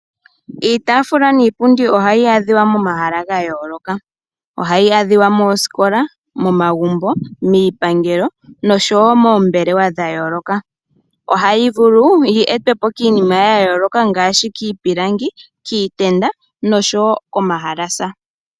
Iitafula niipundi ohayi adhiwa momahala gayoloka. Ohayi adhiwa moosikola, momagumbo, miipangelo noshowo moombelewa dhayooloka. Ohayi vulu yi etwepo kiinima yayoloka ngaa kiipilangi kiitenda noshowo komahalasa.